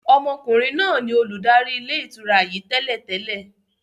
Ọmọkùnrin náà ni olùdarí ilé ìtura yìí tẹ́lẹ̀ tẹ́lẹ̀.